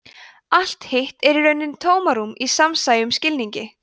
allt hitt er í rauninni tómarúm í smásæjum skilningi